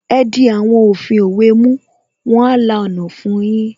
Ẹ di àwọn òfin òwe mú, wọn a la ọ̀nà fun yín